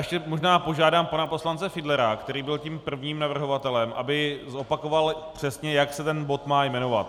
Ještě možná požádám pana poslance Fiedlera, který byl tím prvním navrhovatelem, aby zopakoval přesně, jak se ten bod má jmenovat.